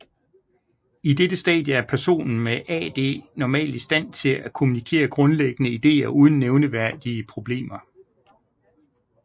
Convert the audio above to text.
I dette stadie er personen med AD normalt i stand til at kommunikere grundlæggende ideer uden nævneværdige problemer